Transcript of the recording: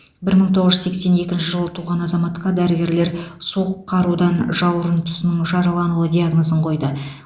бір мың тоғыз жүз сексен екінші жылы туған азаматқа дәрігерлер суық қарудан жауырын тұсының жаралануы диагнозын қойды